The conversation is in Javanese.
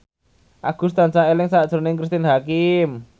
Agus tansah eling sakjroning Cristine Hakim